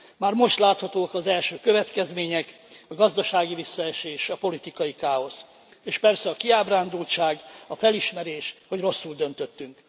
Már most láthatóak az első következmények a gazdasági visszaesés, a politikai káosz, és persze a kiábrándultság, a felismerés, hogy rosszul döntöttünk.